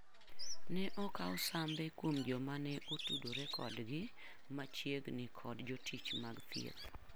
Ne okaw sambe kuom joma ne otudore kodgi machiegni kod jotich mag thieth.